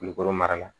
Kulukoro mara la